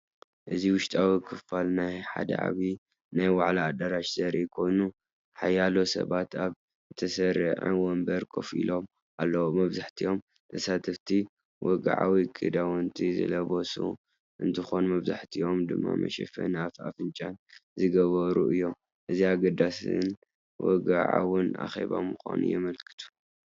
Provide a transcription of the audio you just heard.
እዚ ውሽጣዊ ክፋል ናይ ሓደ ዓቢ ናይ ዋዕላ ኣዳራሽ ዘርኢ ኮይኑ፡ሓያሎ ሰባት ኣብ ዝተሰርዐ መንበር ኮፍ ኢሎም ኣለዉ። መብዛሕትኦም ተሳተፍቲ ወግዓዊ ክዳውንቲ ዝለበሱ እንትኾኑ መብዛሕትኦም ድማ መሸፈኒ ኣፍን ኣፍንጫን ዝገብሩ እዮም። እዚ ኣገዳስን ወግዓውን ኣኼባ ምዃኑ የመልክቱ።